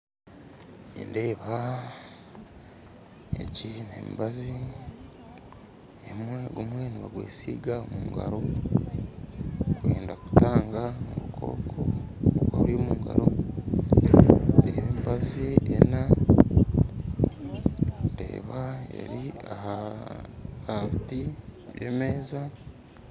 Nindeeba egi nemibazi, gumwe nibagwesiga omu ngaro kwenda kutanga obukooko, obukoko buri omu ngaro nibagunaba omu ngaro, ndeeba guri aha mutwe gw'emeza